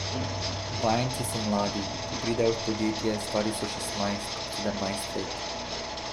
Vajenci so mladi, ko pridejo v podjetje, stari so šestnajst, sedemnajst let.